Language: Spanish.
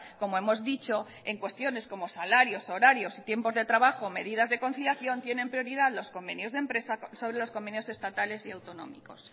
como hemos dicho en cuestiones como salarios horarios y tiempos de trabajo o medidas de conciliación tienen prioridad los convenios de empresa sobre los convenios estatales y autonómicos